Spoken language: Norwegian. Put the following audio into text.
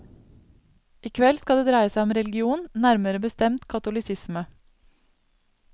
I kveld skal det dreie seg om religion, nærmere bestemt katolisisme.